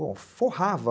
Bom, forrava.